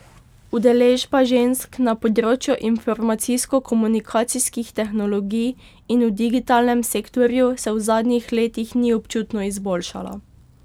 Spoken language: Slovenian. Udeležba žensk na področju informacijsko komunikacijskih tehnologij in v digitalnem sektorju se v zadnjih letih ni občutno izboljšala.